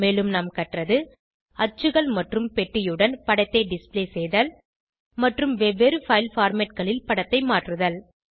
மேலும் நாம் கற்றது அச்சுகள் மற்றும் பெட்டியுடன் படத்தை டிஸ்ப்ளே செய்தல் மற்றும் வெவ்வேறு பைல் formatகளில் படத்தை மாற்றுதல்